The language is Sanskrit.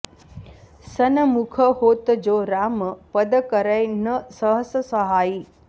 सनमुख होत जो राम पद करै न सहस सहाइ